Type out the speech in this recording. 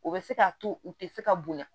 O bɛ se k'a to u tɛ se ka bonya